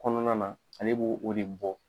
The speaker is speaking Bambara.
Kɔnɔna na ale b'o o de bɔ